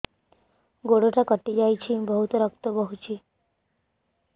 ଗୋଡ଼ଟା କଟି ଯାଇଛି ବହୁତ ରକ୍ତ ବହୁଛି